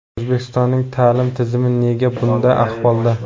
O‘zbekistonning ta’lim tizimi nega bunda ahvolda?